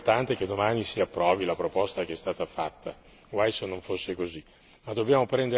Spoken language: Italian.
Allora, è molto importante che domani si approvi la proposta che è stata fatta, guai se non fosse così.